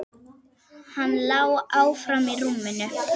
Hann lá áfram í rúminu.